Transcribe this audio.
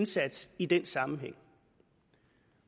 indsats i den sammenhæng